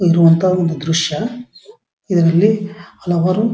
ಇರುವಂತಹ ಒಂದು ದ್ರಶ್ಯ ಇದರಲ್ಲಿ ಹಲವಾರು --